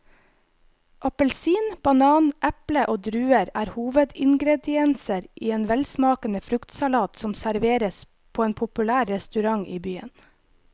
Appelsin, banan, eple og druer er hovedingredienser i en velsmakende fruktsalat som serveres på en populær restaurant i byen.